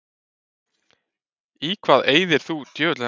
Í hvað eyðir þú æfingartímanum þínum?